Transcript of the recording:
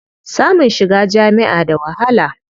Samun shiga jami'a da wahala.